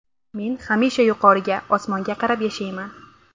Men hamisha yuqoriga – osmonga qarab yashayman”.